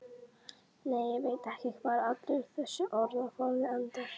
Nei, ég veit ekki hvar allur þessi orðaforði endar.